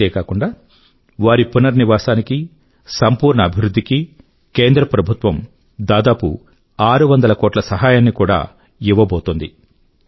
ఇంతేగాక వారి పునర్నివాసానికీ సంపూర్ణ అభివృధ్ధి కీ కేంద్ర ప్రభుత్వం దాదాపు ఆరు వందల కోట్ల రూపాయిల సహాయాన్ని కూడా ఇవ్వబోతోంది